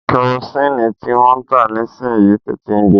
Kẹrosini tí wọ́n ń tà nísìyi ń tètè ń gbe.